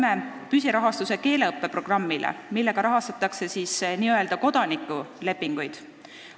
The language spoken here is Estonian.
Me saime püsirahastuse keeleõppe programmile, selle abil rahastatakse n-ö kodanikulepinguid.